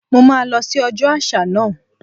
Mo máa lọ sí ọjọ́ àṣà náà.